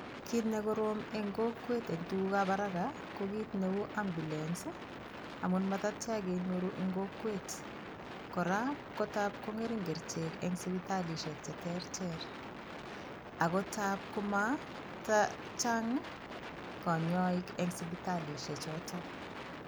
Kiit nekorom eng' kokwet eng' tukukab haraka ko kiit neu ambulance amun matatya kenyoru eng' kokwet kora ko tap kong'ering' kerichek eng' sipitalishek cheterter ako tap komatachang' konyoik eng' sipitalishek choto